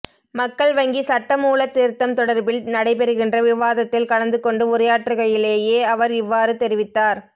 மக்கள் வங்கி சட்டமூலத் திருத்தம் தொடர்பில் நடைபெறுகின்ற விவாதத்தில் கலந்து கொண்டு உரையாற்றுகையிலேயே அவர் இவ்வாறு தெரிவித்தார்